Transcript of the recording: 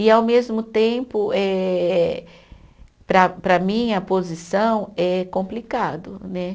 E, ao mesmo tempo eh, para para minha posição é complicado, né?